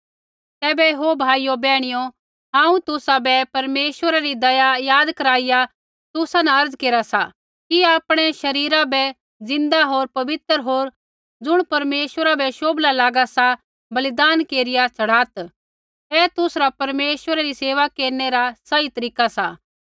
तैबै ओ भाइयो बैहणियो हांऊँ तुसाबै परमेश्वरा री दया याद कराईया तुसा न अर्ज़ा केरा सा कि आपणै शरीरा बै ज़िन्दा होर पवित्र होर ज़ुण परमेश्वरा बै शोभला लागा सा बलिदान केरिया चढ़ात् ऐ तुसरा परमेश्वरा री सेवा केरनै रा सही तरीका सा